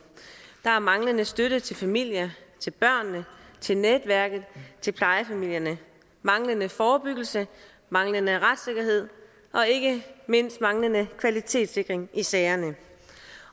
der er manglende støtte til familierne til børnene til netværket til plejefamilierne manglende forebyggelse manglende retssikkerhed og ikke mindst manglende kvalitetssikring i sagerne